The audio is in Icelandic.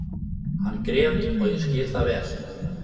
Hann grét og ég skil það vel.